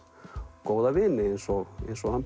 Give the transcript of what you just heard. góða vini eins og eins og